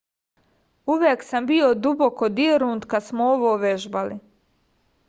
uvek sam bio duboko dirnut kada smo ovo vežbali